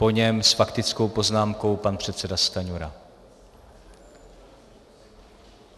Po něm s faktickou poznámkou pan předseda Stanjura.